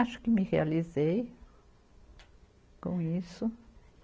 Acho que me realizei com isso.